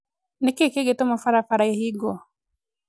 Nĩ kĩĩ kĩngĩtũma barabara ĩhingwo?